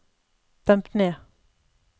demp ned